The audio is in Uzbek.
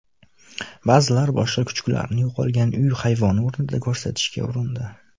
Ba’zilar boshqa kuchuklarni yo‘qolgan uy hayvoni o‘rniga ko‘rsatishga urindi.